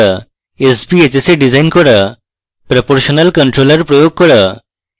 sbhs এ design করা proportional controller প্রয়োগ করা